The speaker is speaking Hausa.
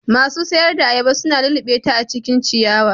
Masu sayar da ayaba su na lullubeta a cikin ciyawa.